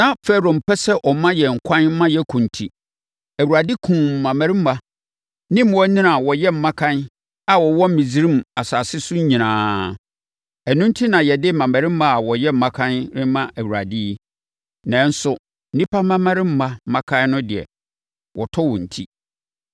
Na Farao mpɛ sɛ ɔma yɛn ɛkwan ma yɛkɔ enti, Awurade kumm mmammarima ne mmoanini a wɔyɛ mmakan a wɔwɔ Misraim asase so nyinaa. Ɛno enti na yɛde mmammarima a wɔyɛ mmakan rema Awurade yi, nanso nnipa mmammarima mmakan no deɛ, wɔtɔ wɔn ti.’